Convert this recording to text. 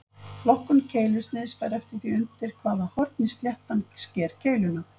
Flokkun keilusniðs fer eftir því undir hvaða horni sléttan sker keiluna.